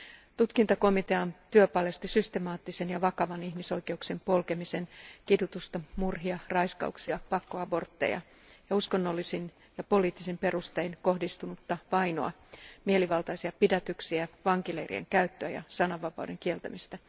Tutkintakomitean työ paljasti systemaattisen ja vakavan ihmisoikeuksien polkemisen kidutusta, murhia, raiskauksia, pakkoabortteja ja uskonnollisin ja poliittisin perustein kohdistunutta vainoa, mielivaltaisia pidätyksiä, vankileirien käyttöä ja sananvapauden kieltämistä.